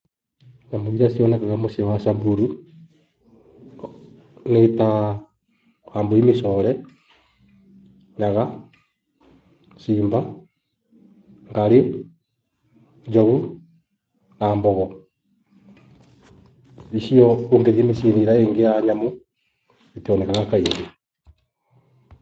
Nyamũ irĩa cionekaga mũciĩ wa Samburu. Nitaa Wambũi mĩcore, Nyaga, simba, Ngarĩ, Njogu na mbogo. Icio ũngĩthie mũciĩ ĩria ĩngĩ ya nyamũ itionekaga kaingĩ.